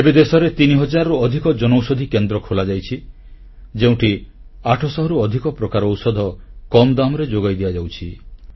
ଏବେ ଦେଶରେ ତିନି ହଜାରରୁ ଅଧିକ ଜନଔଷଧୀ କେନ୍ଦ୍ର ଖୋଲାଯାଇଛି ଯେଉଁଠି 800 ରୁ ଅଧିକ ପ୍ରକାରର ଔଷଧ କମ୍ ଦାମ୍ ରେ ଯୋଗାଇ ଦିଆଯାଉଛି